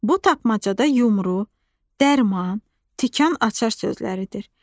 Bu tapmacada yumru, dərman, tikan açar sözləridir.